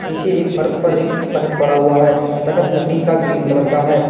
पीछे एक फर्श पर एक तख्त पड़ा हुआ है। तख्त लकड़ी का ग्रीन कलर का है।